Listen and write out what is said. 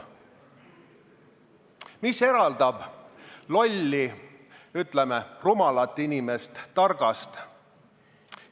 Mis eraldab lolli, ütleme, rumalat inimest targast?